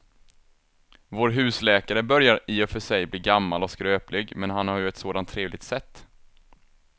Vår husläkare börjar i och för sig bli gammal och skröplig, men han har ju ett sådant trevligt sätt!